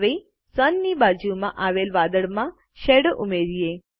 હવે સુન ની બાજુમાં આવેલ વાદળમાં શેડો ઉમેરીએ